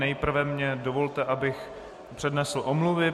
Nejprve mně dovolte, abych přednesl omluvy.